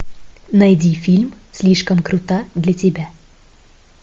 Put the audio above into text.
найди фильм слишком крута для тебя